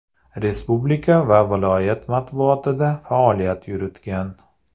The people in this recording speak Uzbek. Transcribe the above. Respublika va viloyat matbuotida faoliyat yuritgan.